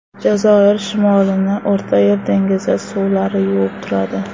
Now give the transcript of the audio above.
Jazoir shimolini O‘rta Yer dengizi suvlari yuvib turadi.